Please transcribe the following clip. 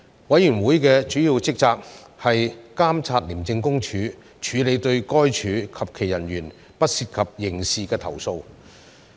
委員會的主要職責是監察廉政公署處理對該署及其人員不涉及刑事的投訴。